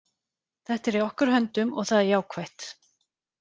Þetta er í okkar höndum og það er jákvætt.